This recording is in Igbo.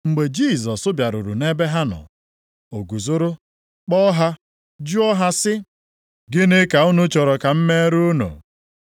Mgbe Jisọs bịaruru nʼebe ha nọ, o guzoro kpọọ ha, jụọ ha sị, “Gịnị ka unu chọrọ ka m meere unu?”